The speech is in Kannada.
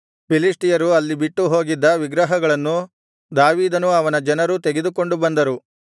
ಫಿಲಿಷ್ಟಿಯರು ಅಲ್ಲಿ ಬಿಟ್ಟು ಹೋಗಿದ್ದ ವಿಗ್ರಹಗಳನ್ನು ದಾವೀದನೂ ಅವನ ಜನರೂ ತೆಗೆದುಕೊಂಡು ಬಂದರು